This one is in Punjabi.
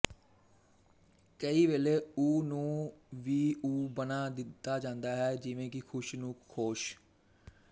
ਕਈ ਵੇਲੇ ਉ ਨੂੰ ਵੀ ਓ ਬਣਾ ਦਿੱਤਾ ਜਾਂਦਾ ਹੈ ਜਿਵੇਂ ਕਿ ਖੁਸ਼ ਨੂੰ ਖੋਸ਼